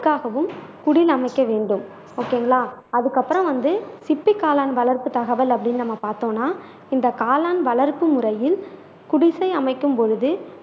தெற்க்காகவும் குடில் அமைக்க வேண்டும் ஓகேங்களா அதுக்கப்புறோம் வந்து சிப்பி காளான் வளர்ப்பு தகவல் அப்படின்னு நாம பார்த்தோம்னா இந்த காளான் வளர்ப்பு முறையில் குடிசை அமைக்கும் பொழுது